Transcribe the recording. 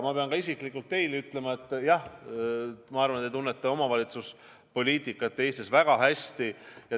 Ma pean isiklikult teile ütlema, et minu arvates te tunnete Eesti omavalitsuspoliitikat väga hästi.